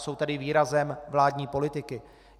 Jsou tedy výrazem vládní politiky.